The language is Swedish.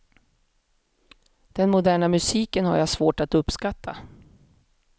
Den moderna musiken har jag svårt att uppskatta.